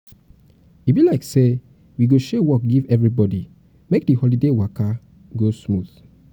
e be like say we go share work give everybody make di holiday waka go smooth oo